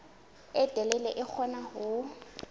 e telele di kgona ho